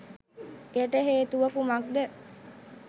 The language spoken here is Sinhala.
එයට හේතුව කුමක්ද?